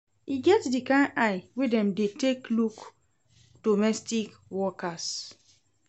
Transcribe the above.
E get di kain eye wey dem dey take look domestic workers.